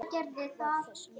Var þessu lokið?